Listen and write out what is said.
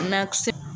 Nakisɛ